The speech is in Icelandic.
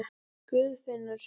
Guðfinnur